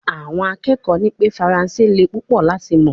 Awon akekoo ni pe faranse le pupo lati mo